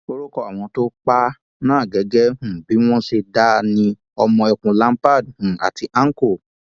orúkọ àwọn tó pa á náà gẹgẹ um bí wọn ṣe dá a ni ọmọ ẹkùnlampard um àti àǹkọ